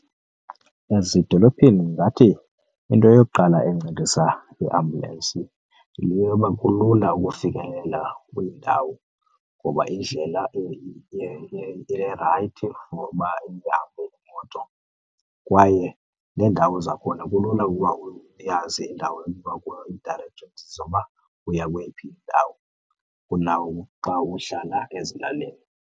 Ezidolophini ndingathi into yokuqala encedisa iiambulensi yile yoba kulula ukufikelela kwiindawo ngoba indlela irayithi for uba ihambe imoto kwaye neendawo zakhona kulula ukuba uyazi indawo uba ii-directors zoba uya kweyiphi indawo kuna uxa uhlala ezilalini.